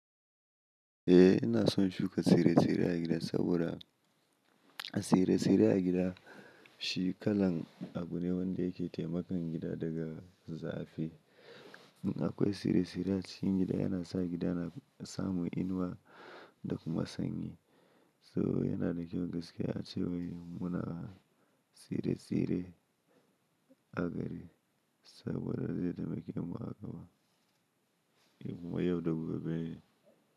Eh ina son shuka tsire-tsire a gida saboda a tsire-tsire a gida shi kalan abu ne wanda yake taimakan gida daga zafi. In akwai tsire-tsire a cikin gida yana sa gida na samu inuwa da kuma sanyi. So yana da kyau gaskiya ace wai muna tsire-tsire a gari saboda zai taimake mu a gama kuma yau da gobe ne.